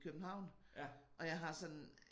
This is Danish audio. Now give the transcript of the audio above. København og jeg har sådan